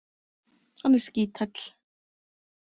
Hann er skíthæll.